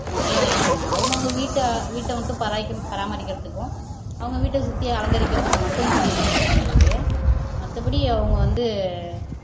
மொட்டையா வச்சுட்டாங்க அவங்கவங்க வீட்ட வீட்டை மட்டும் பரா பராமரிக்கிறதுக்கும் அவங்க வீட்டை சுத்தி அலங்கரிக்கிறதுக்கு மட்டும் செடி வச்சுகிட்டாங்களே ஒழிய மத்தபடி அவங்க வந்து